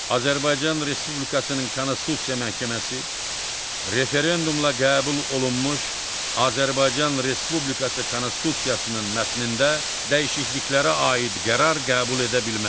Azərbaycan Respublikasının Konstitusiya Məhkəməsi referendumla qəbul olunmuş Azərbaycan Respublikası Konstitusiyasının mətnində dəyişikliklərə aid qərar qəbul edə bilməz.